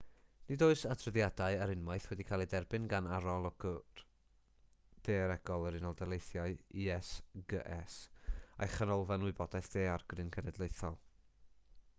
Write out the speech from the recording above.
nid oes adroddiadau ar unwaith wedi cael eu derbyn gan arolwg daearegol yr unol daleithiau usgs a'i chanolfan wybodaeth daeargryn genedlaethol